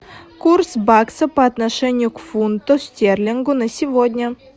курс бакса по отношению к фунту стерлингу на сегодня